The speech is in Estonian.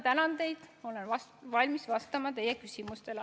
Tänan teid ja olen valmis vastama teie küsimustele.